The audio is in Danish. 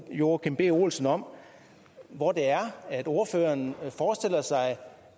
joachim b olsen om hvor det er ordføreren forestiller sig